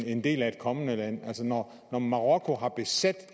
en del af et kommende land altså når marokko har besat